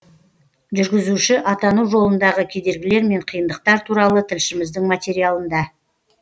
жүргізуші атану жолындағы кедергілер мен қиындықтар туралы тілшіміздің материалында